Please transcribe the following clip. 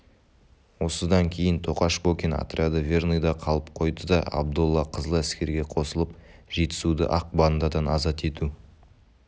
осыдан кейін тоқаш бокин отряды верныйда қалып қойды да абдолла қызыл әскерге қосылып жетісуды ақ бандадан азат ету